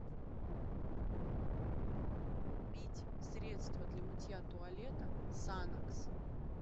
купить средство для мытья туалета санокс